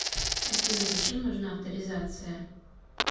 афина зачем нужна авторизация